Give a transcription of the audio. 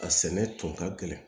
A sɛnɛ tun ka gɛlɛn